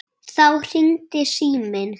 Þá hringir síminn.